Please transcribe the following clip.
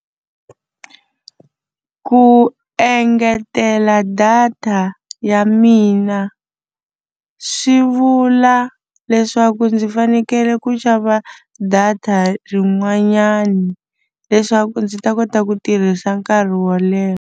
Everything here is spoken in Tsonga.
Ku engetela data ya mina swi vula leswaku ndzi fanekele ku xava data rin'wanyani leswaku ndzi ta kota ku tirhisa nkarhi wo leha.